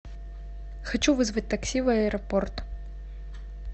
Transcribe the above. хочу вызвать такси в аэропорт